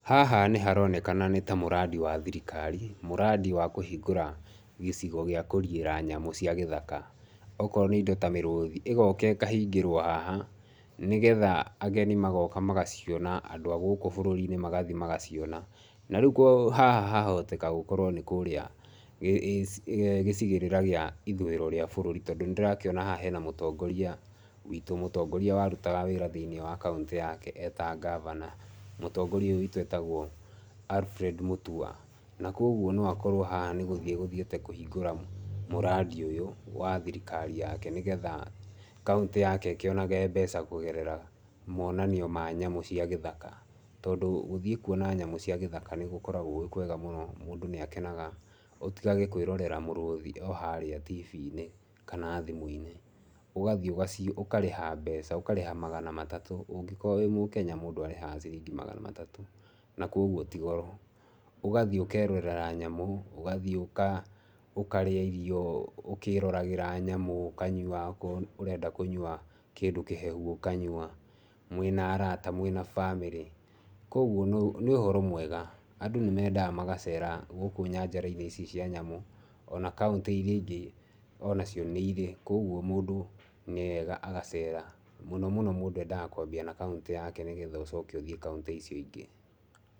Haha nĩ haronekana nĩ ta mradi wa thirikari. Mradi wa kũhingũra gĩcigo gĩa kũriĩra nyamũ cia gĩthaka. Okorwo nĩ indo ta mĩrũthi ĩgoka ĩkahingĩrwo haha nĩgetha ageni magoka magaciona, andũ a gũkũ bũrũri-inĩ magathiĩ magaciona. Na rĩu haha hahoteka gũkorwo nĩ kũrĩa gĩcigĩrĩra kĩa ithurĩro rĩa bũrũri, tondũ nĩ ndĩrakĩona haha hena mũtongoria witũ, mũtongoria warutaga wĩra thĩinĩ wa kaũntĩ yake e ta ngavana. Mũtongoria ũyũ witũ etagwo Alfred Mutua. Na kwoguo no akorwo haha nĩ gũthiĩ egũthiĩte kũhingũra mradi ũyũ wa thirikari yake nĩgetha kaũntĩ yake ĩkĩonage mbeca monanio ma nyamũ cia gĩthaka. Tondũ gũthiĩ kuona nyamũ cia gĩthaka nĩ gũkoragwo gwĩ kwega mũno, mũndũ nĩ akenaga. Ũtigage kwĩrorera mũrũthi harĩa TV inĩ kana thimũ-inĩ, ugathiĩ ũkarĩha mbeca ũkarĩha magana matatũ, ũngĩkorwo wĩ mũkenya mũndũ arĩhaga magana ciringi magana matatũ na kwoguo ti goro. Ũgathiĩ ũkerorera nyamũ ũgathiĩ ũkarĩa irio ũkĩroragĩra nyamũ, ũkanyua okorwo ũrenda kũnyua kĩndũ kĩhehu ũkanyua, mwĩna arata, mwĩna bamĩrĩ, kwoguo nĩ ũhoro mwega. Andũ nĩ mendaga magacera gũkũ nyanjara-inĩ ici cia nyamũ, ona kaũntĩ irĩa ingĩ onacio nĩ irĩ. Koguo mũndũ nĩwega agacera. Mũno mũno mũndũ endaga kwambia na kauntĩ yake nĩgetha ũcoke ũthiĩ kauntĩ icio ingĩ.